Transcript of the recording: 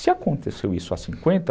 Se aconteceu isso há cinquenta